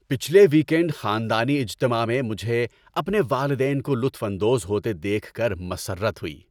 پچھلے ویکینڈ خاندانی اجتماع میں مجھے اپنے والدین کو لطف اندوز ہوتے دیکھ کر مسرت ہوئی۔